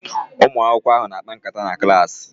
Ụmụ akwụkwọ ahụ na-akpa nkata na klaasị